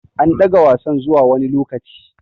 An ɗaga Wasan zuwa wani lokaci.